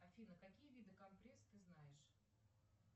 афина какие виды компресс ты знаешь